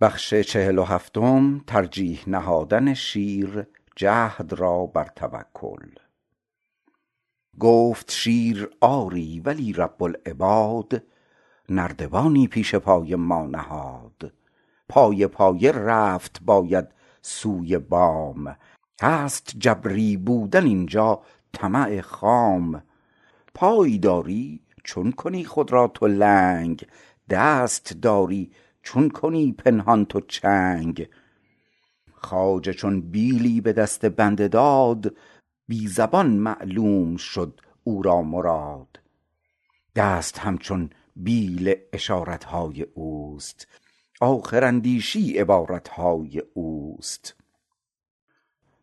گفت شیر آری ولی رب العباد نردبانی پیش پای ما نهاد پایه پایه رفت باید سوی بام هست جبری بودن اینجا طمع خام پای داری چون کنی خود را تو لنگ دست داری چون کنی پنهان تو چنگ خواجه چون بیلی به دست بنده داد بی زبان معلوم شد او را مراد دست همچون بیل اشارت های اوست آخر اندیشی عبارت های اوست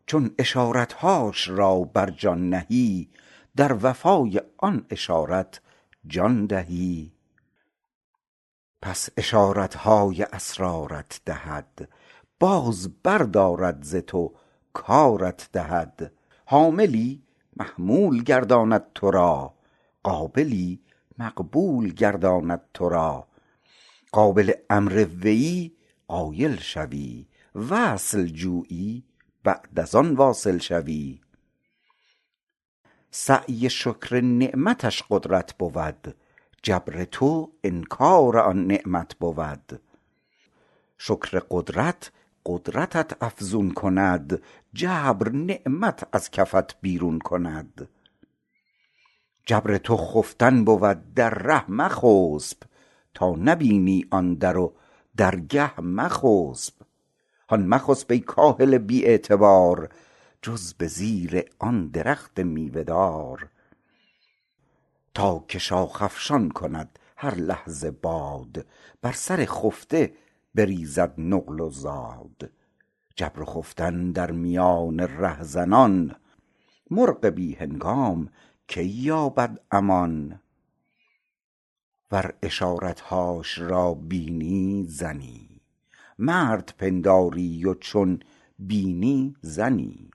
چون اشارت هاش را بر جان نهی در وفا ی آن اشارت جان دهی پس اشارت های اسرار ت دهد بار بر دارد ز تو کارت دهد حاملی محمول گرداند تو را قابلی مقبول گرداند تو را قابل امر ویی قایل شوی وصل جویی بعد از آن واصل شوی سعی شکر نعمتش قدرت بود جبر تو انکار آن نعمت بود شکر قدرت قدرتت افزون کند جبر نعمت از کفت بیرون کند جبر تو خفتن بود در ره مخسپ تا نبینی آن در و درگه مخسپ هان مخسپ ای کاهل بی اعتبار جز به زیر آن درخت میوه دار تا که شاخ افشان کند هر لحظه باد بر سر خفته بریزد نقل و زاد جبر و خفتن در میان ره زنان مرغ بی هنگام کی یابد امان ور اشارت هاش را بینی زنی مرد پنداری و چون بینی زنی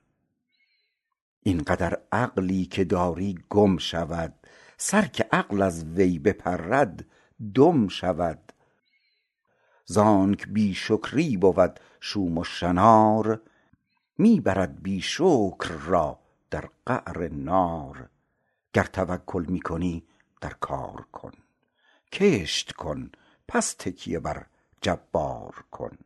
این قدر عقلی که داری گم شود سر که عقل از وی بپرد دم شود زانک بی شکری بود شوم و شنار می برد بی شکر را در قعر نار گر توکل می کنی در کار کن کشت کن پس تکیه بر جبار کن